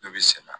Ne bɛ sɛnɛ